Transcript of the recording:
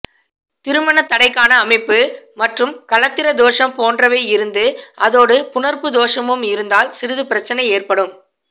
திருமண தடைக்கான அமைப்பு மற்றும் களத்திர தோஷம் போன்றவை இருந்து அதோடு புணர்ப்பு தோஷமும் இருந்தால் சிறிது பிரச்சனை ஏற்படும்